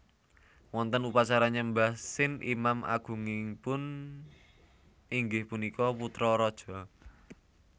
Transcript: Wonten upacara nyembah Sin imam agungipun inggih punika putra raja